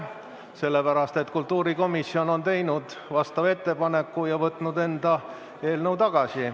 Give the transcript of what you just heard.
Sellepärast, et kultuurikomisjon on teinud vastava ettepaneku ja võtnud enda eelnõu tagasi.